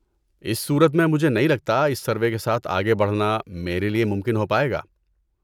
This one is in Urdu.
اس صورت میں، مجھے نہیں لگتا اس سروے کے ساتھ آگے بڑھنا میرے لیے ممکن ہو پائے گا۔